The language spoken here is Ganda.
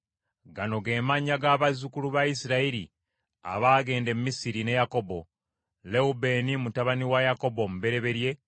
Gano ge mannya g’abazzukulu ba Isirayiri abaagenda e Misiri ne Yakobo: Lewubeeni mutabani wa Yakobo omubereberye,